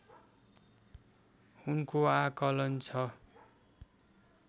उनको आँकलन छ